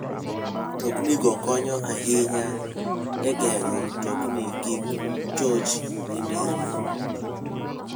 Mtoknigo konyo ahinya e geng'o mtokni kik choch e nderni.